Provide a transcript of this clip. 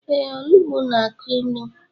Ee, olugbo na-akụ ilu.